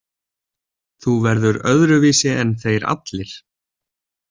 Þú verður öðruvísi en þeir allir.